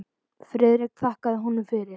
Friðrik þakkaði honum fyrir.